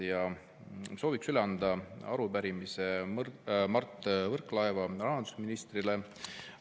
Ja sooviks üle anda arupärimise Mart Võrklaevale, rahandusministrile.